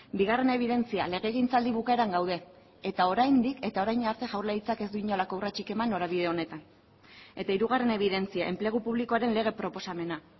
bigarren ebidentzia legegintzaldi bukaeran gaude eta oraindik eta orain arte jaurlaritzak ez du inolako urratsik eman norabide honetan eta hirugarren ebidentzia enplegu publikoaren lege proposamena